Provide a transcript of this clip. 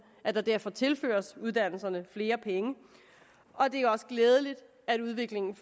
at der derfor tilføres uddannelserne flere penge det er også glædeligt at udviklingen